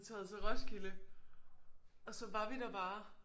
Taget til Roskilde og så var vi der bare